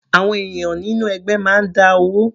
Àwọn ènìyàn nínú ẹgbẹ́ máa ń dá owó.